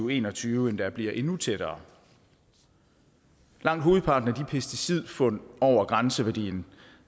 og en og tyve endda bliver endnu tættere langt hovedparten af de pesticidfund over grænseværdien